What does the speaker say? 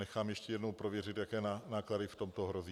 Nechám ještě jednou prověřit, jaké náklady v tom hrozí.